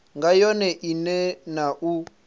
nga yone ine na u